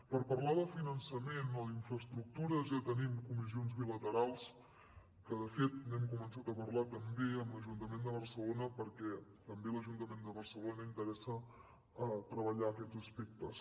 per parlar de finançament o d’infraestructures ja tenim comissions bilaterals que de fet n’hem començat a parlar també amb l’ajuntament de barcelona perquè també a l’ajuntament de barcelona interessa treballar aquests aspectes